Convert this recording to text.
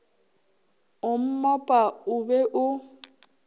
o mmopa o be o